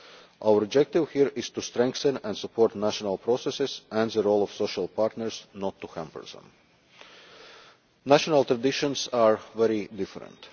Our objective here is to strengthen and support national processes and the role of social partners not to hamper them. National traditions are very different.